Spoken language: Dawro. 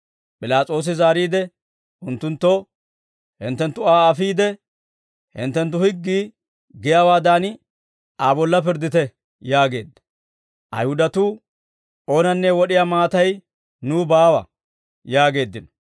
P'ilaas'oosi zaariide unttunttoo, «Hinttenttu Aa afiide, hinttenttu higgii giyaawaadan, Aa bolla pirddite» yaageedda. Ayihudatuu, «Oonanne wod'iyaa maatay nuw baawa» yaageeddino.